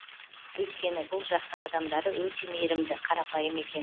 өйткені бұл жақтың адамдары өте мейірімді қарапайым екен